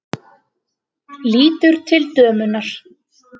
Lítur til dömunnar.